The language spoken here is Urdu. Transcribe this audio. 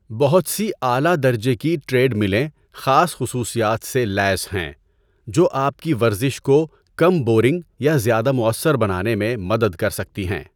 بہت سی اعلی درجے کی ٹریڈملیں خاص خصوصیات سے لیس ہیں جو آپ کی ورزش کو کم بورنگ یا زیادہ مؤثر بنانے میں مدد کر سکتی ہیں۔